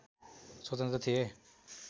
स्वतन्त्र थिए